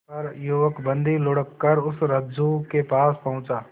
पर युवक बंदी ढुलककर उस रज्जु के पास पहुंचा